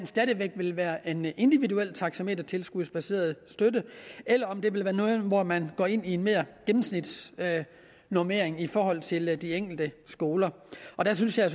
stadig væk vil være en individuel taxametertilskudsbaseret støtte eller om det vil være noget hvor man går ind i en mere gennemsnitsbaseret normering i forhold til de enkelte skoler der synes jeg